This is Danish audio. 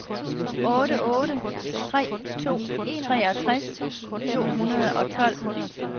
otte otte tre to treogtres to hundrede og tolv